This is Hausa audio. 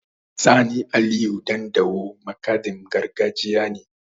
Sani Aliyu Ɗandawo makaɗin gargajiya ne.